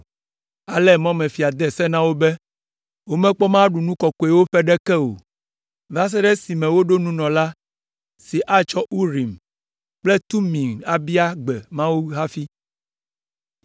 Ale mɔmefia la de se na wo be, womekpɔ mɔ aɖu nu kɔkɔewo ƒe ɖeke o va se ɖe esime woɖo nunɔla si atsɔ Urim kple Tumim abia gbe Mawu hafi.